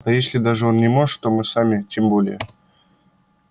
а если даже он не может то мы сами тем более